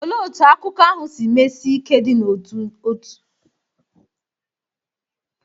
Olee otú akụkọ ahụ si mesie ike ịdị n’otu dị?